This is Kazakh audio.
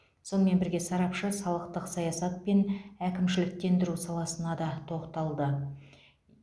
сонымен бірге сарапшы салықтық саясат пен әкімшіліктендіру саласына да тоқталды